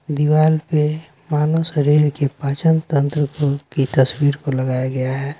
दीवाल पे मानव शरीर के पाचन तंत्र को की तस्वीर को लगाया गया है।